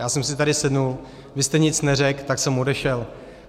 Já jsem si tady sedl, vy jste nic neřekl, tak jsem odešel.